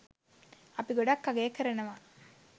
අපි ගොඩක් අගය කරනවා